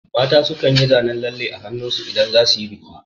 Mata su kan yi zanen lalle a hannun su idan za su yi biki